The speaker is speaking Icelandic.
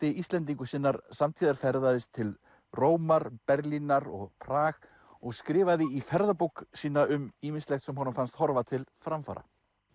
Íslendingur sinnar samtíðar ferðaðist til Rómar Berlínar og Prag og skrifaði í ferðabók sína um ýmislegt sem honum fannst horfa til framfara